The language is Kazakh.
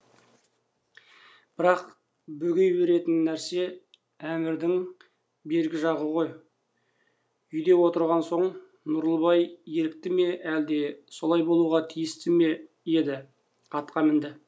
бірақ бөгей беретін нәрсе әмірдің бергі жағы ғой үйде отырған соң нұрлыбай ерікті ме әлде солай болуға тиісті ме еді атқа мінді